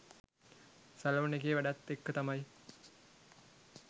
salon එකේ වැඩත් එක්ක තමයි